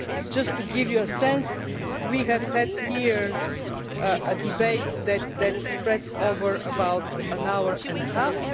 Just to give you a sense, we have had here a debate that has spread over about an hour and a half.